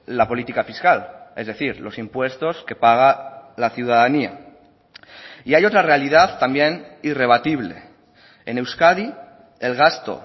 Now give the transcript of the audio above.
la política fiscal es decir los impuestos que paga la ciudadanía y hay otra realidad también irrebatible en euskadi el gasto